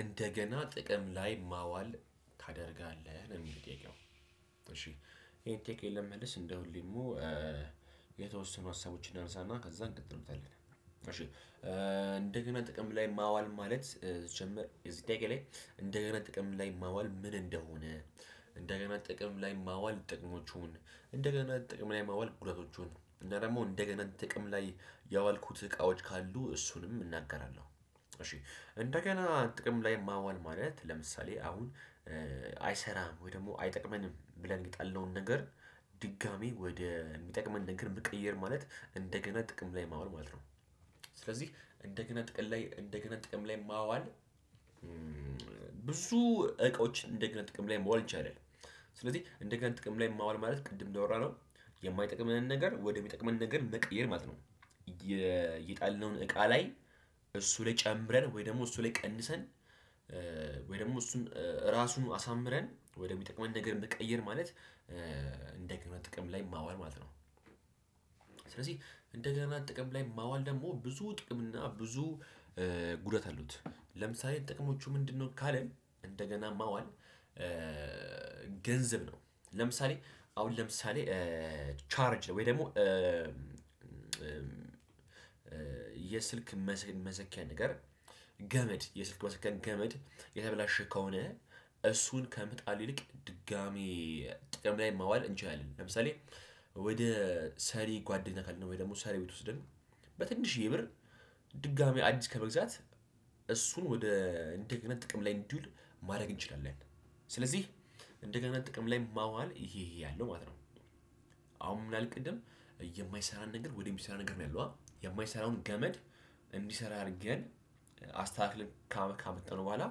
እንደገና ጥቅም ላይ ማዋል ታደርጋለህ ነው እሚል ጥያቄው እሺ ይሄን ጠያቄን ለመመለስ እንደሁሌ ደሞ የተወሰኑ ሀሳቦችን እናነሳና ከዛ እንቀጥልበታለን። እሺ እንደገና ጥቅም ላይ ማዋል ማለት ሲጀመር የዚህ ላይ እንደገና ጥቅም ላይ ማዋል ምን እንደሆነ እደገና ጥቅም ላይ ማዋል ጥቅሞቹን እደገና ጥቅም ላይ ማዋል ጉዳቶቹን እና ደሞ እደገና ጥቅም ላይ ያዋልኩት እቃዎች ካሉ እሱንም እናገራለው። እሺ እደገና ጥቅም ላይ ማዋል ማለት አሁን ለምሳሌ አይሰራም ወይ ደሞ አይጠቅመንም ብለን የጣልነውን ነገር ድጋሚ ወደ እሚጠቅመን ነገር መቀይር ማለት እንደገና ጥቅም ላይ ማዋል ማለት ነው። ስለዚህ እንደገና ጥቅላይ እንደገና ጥቅም ላይ ማዋል ብዙ እቃዎች እንደገና ጥቅም ላይ ማዋል ይቻላል። ስለዚህ እንደገና ጥቅም ላይ ማዋል ማለት ቅድም እንዳወራነው የማይጠቅመንን ነገር ወደሚጠቅመን ነገር መቀየር ማለት ነው። የጣልነውን እቃ ላይ እሱ ላይ ጨምረን ወይ ደግሞ እሱ ላይ ቀንሰን ወይ ደሞ እሱን ራሱን አሳምረን ወሚጠቅመን ነገር መቀየር ማለት እንደገና ጥቅም ላይ ማዋል ማለት ነው። ስለዚህ እንደገና ጥቅም ላይ ማዋል ደሞ ብዙ ጥቅም እና ብዙ ጉደት አሉት። ለምሳሌ ጥቅሞቹ ምንድነው? ካለን እንደገና ማዋል ገንዘብ ነው። ለምሳሌ አሁን ለምሳሌ ቻርጅ ወይ ደሞ የስልክ መሰኪያ ነገር ገመድ የስልክ መስኪያ ገመድ የተበላሸ ከሆነ እሱን ከመጣል ይልቅ ድጋሚ ጥቅም ላይ ማዋል እንችላለን። ለምሳሌ ወደ ሰሪ ጓደኛ ካልን ወይ ደሞ ሰሪ ቤት ወስደን በትንሽዬ ብር ድጋሚ አዲስ ከመግዛት እሱን ወደ እንደገና ጥቅም ላይ እንዲውል ማረግ እንችላለን። ስለዚህ እንደገና ጥቅም ላይ ማዋል ይሄ ይሄ አለው ማለት ነው። አሁን ምን አልን ቅድም የመይሰራን ነገር ወደ ሚሰራ ነገር ነው ያልነውአ የማይሰራውን ገመድ እዲሰራ አድርገን አስተካክለን ካመጣነው በኋላ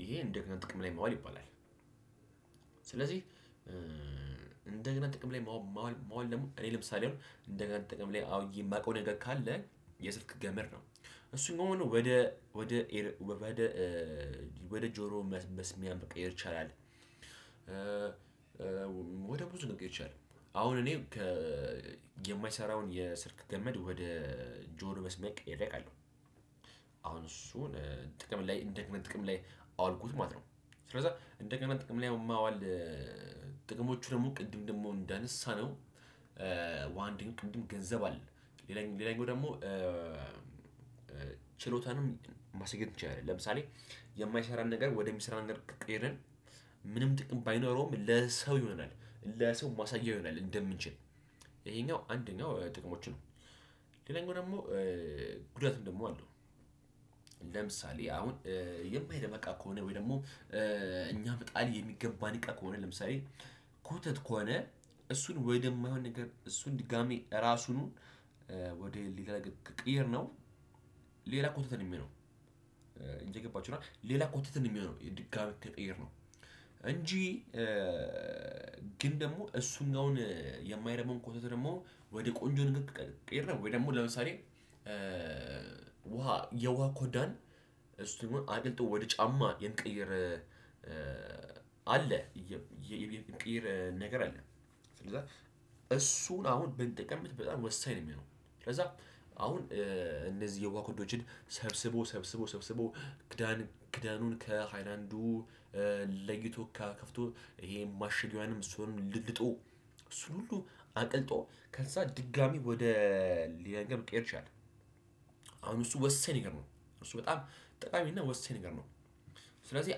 ይሄ እንደገና ጥቅም ላይ ማዋል ይባላል። ስለዚህ እንደገና ጥቅም ላይ ማዋል ማዋል ደሞ እኔ ለምሳሌ እንደ ጋ ጥቅም ላይ አውዬ እማቀው ነገር ካለ የስልክ ገመድ ነው። እሱ አሁን ወደ ወደ ወደ ወደ ጆሮ መስሚያ መቀየር ይቻላል። ወደ ብዙ ነገር ይቻላል አሁን እኔ የማይሰራውን የስልክ ገመድ ወደ ጆሮ መስመር ቀይሬ አቃለሁ። አሁን እሱን ጥቅም ላይ እንደገና ጥቅም ላይ አዋልኩት ማለት ነው። ስለዚያ እንደገና ጥቅም ላይ ማዋል ጥቀወሞቹ ደሞ ቅድም ደሞ እንዳነሳነው ዋንድን ጥዱን ገንዘብ አለ። ሌላኛው ሌላኛው ደሞ ችሎታንም ማስጌድ ይቻላል። ለምሳሌ የማይሰራን ነገር ወደ ሚሰራ ነገር ቀቀይረን ምንም ጥቅም ባይኖረውም ለሰው ይሆናል ለሰው ማሳያ ይሆናል እንደምንችል ይሄኛው አንደኛው ጥቅሞቹ ነው። ሌላኛው ደግሞ ጉዳትም ደግሞ አለው። ለምሳሌ አሁን የማይረባ እቃ ከሆነ ወይ ደግሞ እኛ መጣል የሚገባን እቃ ከሆነ ለምሳሌ ኮተት ከሆነ እሱን ወደ ማይሆን ነገር እሱን ድጋሚ እራሱኑ ወደ ሌላ ነገር ከቀየርነው ሌላ ኮተት ነው ሚሆነው። እየገባችሁ ነዋ ሌላ ኮተት ነው ሚሆነው የድጋሚ ከቀየርነው እንጂ ግን ደሞ እሱኛውን የማይረባውን ኮተት ደሞ ወደ ቆንጆ ነገር ወይ ደሞ ለምሳሌ ውሃ የውሃ ኮዳን እሱ አብልጦ ወደ ጫማ የመቀየር አለ የሚቀይር ነገር አለ። ስለዛ እሱን ብንጠቀምበት አሁን ወሳኝ ነው እሚሆነው ስለዛ አሁን እደዚህ የውሃ ኮዳዎችን ሰብስቦ ሰብስቦ ሰብስቦ ክዳን ክዳኑን ለይቶ ከፍቶ ይሄን ማሽጊያዋንም እሱንም ልልጦ እሱን ሁሉ አቅልጦ ከዛ ድጋሚ ወደ ሌላ ነገር መቀየር ትችላለሁ። አሁን እሱ ወሳኝ ነገር ነው። እሱ በጣም ጠቃሚና ወሳኝ ነገር ነው። ስለዚህ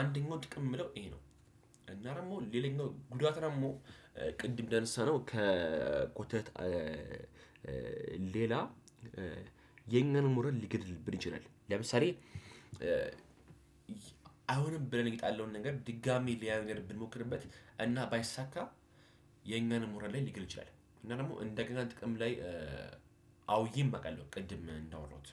አንደኛው ጥቅም እምለው ይሄ ነው። እና ደሞ ሌላኛው ጉዳት ደሞ ቅድም እንዳነሳነው ከኮተት ሌላ የኛን ሞራል ሊገድልብን ይችላል። ለምሳሌ አይሆንም ብለን የጣለው ነገር ድጋሚ ሌላ ነገር ብንሞክርበት እና ባይሳካ የኛን ሞራል ላይ ሊገል ይችላል። እና ደሞ እንደገና ጥቅም አውየም አቃለው ቅድም እዳወራውት